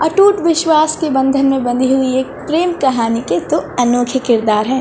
अटूट विश्वास से बंधन बंधी हुई है प्रेम कहानी के दो अनोखे किरदार है।